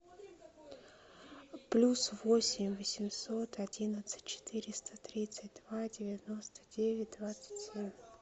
плюс восемь восемьсот одиннадцать четыреста тридцать два девяносто девять двадцать семь